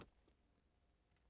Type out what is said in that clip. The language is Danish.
Hanne Hansen